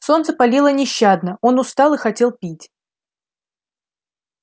солнце палило нещадно он устал и хотел пить